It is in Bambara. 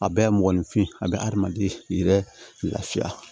A bɛɛ mɔgɔninfin a bɛ adamaden yɛrɛ lafiya